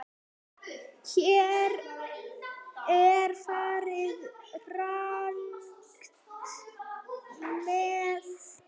Hér er farið rangt með.